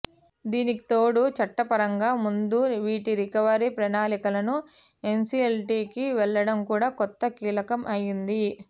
దీనికితోడు చట్టపరంగా ముందు వీటి రికవరీ ప్రణాళికలకు ఎన్సిఎల్టికి వెళ్లడం కూడా కొంత కీలకం అయింది